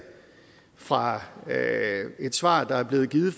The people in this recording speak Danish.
fra et svar der er blevet givet